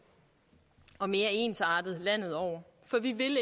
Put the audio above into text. og mere ensartet landet over for vi vil